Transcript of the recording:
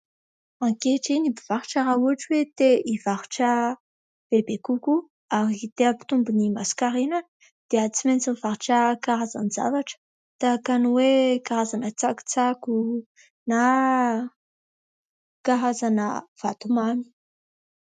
Ankehitriny ny mpivarotra raha ohatra hoe te hivarotra bebe kokoa ary te hampitombo ny masonkarenany dia tsy maintsy mivarotra karazan-javatra tahaka ny hoe karazana tsakotsako na karazana vatomamy.